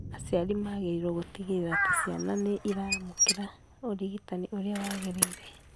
Aciari magĩrĩirũo gũtigĩrĩra atĩ ciana nĩ iramũkĩra ũrigitani ũrĩa wagĩrĩire